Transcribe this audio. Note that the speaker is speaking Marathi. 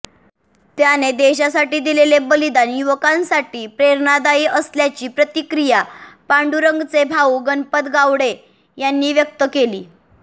त्याने देशासाठी दिलेले बलिदान युवकांसाठी प्रेरणादायी असल्याची प्रतिक्रिया पांडुरंगचे भाऊ गणपत गावडे यांनी व्यक्त केली